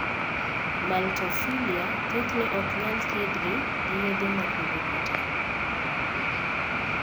(maltophilia) thothne ok nyal thiedhgi gi yedhe ma kwedo kute.